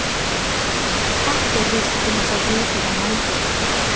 Ekki er víst hvenær sá hiti var mældur.